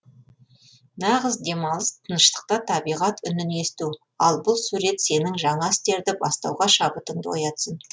нағыз демалыс тыныштықта табиғат үнін есту ал бұл сурет сенің жаңа істерді бастауға шабытыңды оятсын